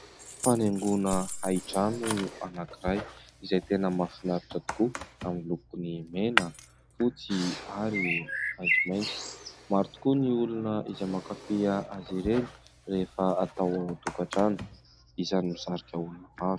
Fanaingoana hain-trano anankiray, izay tena mahafinaritra tokoa amin'ny lokony mena, fotsy ary maitsomaitso. Maro tokoa ny olona izay mankafy azy ireny rehefa atao ao an-tokantrano, isan'ny misarika olona maro.